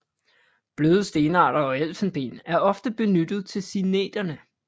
Bløde stenarter og elfenben er ofte benyttet til signeterne